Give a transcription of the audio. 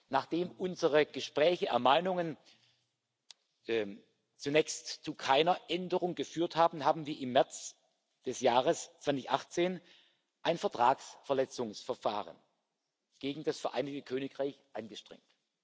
Nachdem unsere Gespräche und Ermahnungen zunächst zu keiner Änderung geführt haben, haben wir im März des Jahres 2018 ein Vertragsverletzungsverfahren gegen das Vereinigte Königreich angestrengt.